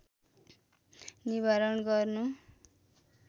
निवारण गर्नु